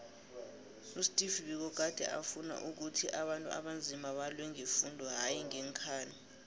usteve biko gade afuna ukhuthi abantu abanzima balwe ngefundo hayi ngeenkhali